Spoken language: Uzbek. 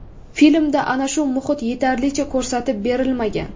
Filmda ana shu muhit yetarlicha ko‘rsatib berilmagan.